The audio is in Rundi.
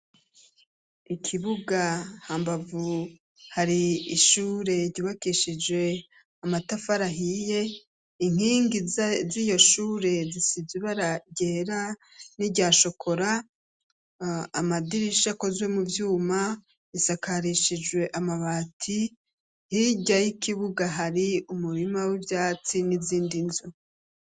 Ikibuga, hambavu hari ishure ryubakishijwe amatafari ahiye, inkingi z'iyo shure zisize ibara ryera n'iryashokora, amadirisha akozwe mu vyuma bisakarishijwe amabati, hirya y'ikibuga hari umurima w'ivyatsi n'izindi nzu.